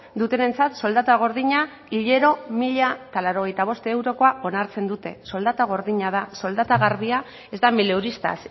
dutenentzat soldata gordina hilero mila laurogeita bost eurokoa onartzen dute soldata gordina da soldata garbia ez da mileuristas